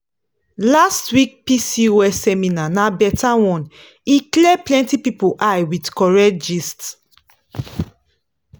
last week pcos seminar na better one e clear plenty people eye with correct gist.